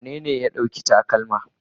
Wanene ya ɗauki takalma?